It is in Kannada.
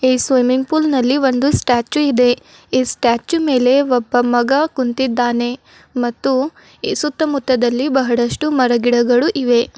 ಈ ಸ್ವಿಮ್ಮಿಂಗ್ ಪೂಲ್ ನಲ್ಲಿ ಒಂದು ಸ್ಟ್ಯಾಚು ಇದೆ ಈ ಸ್ಟ್ಯಾಚು ಮೇಲೆ ಒಬ್ಬ ಮಗ ಕುಂತಿದ್ದಾನೆ ಮತ್ತು ಸುತ್ತಮುತ್ತದಲ್ಲಿ ಬಹಳಷ್ಟು ಮರ ಗಿಡಗಳು ಇವೆ.